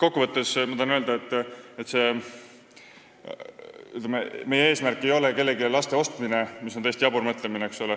Kokku võttes tahan öelda, et meie eesmärk ei ole kellelegi laste ostmine, mis on täiesti jabur mõtlemine.